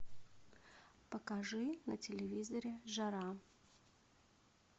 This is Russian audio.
покажи на телевизоре жара